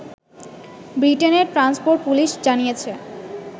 ব্রিটেনের transport police জানিয়েছে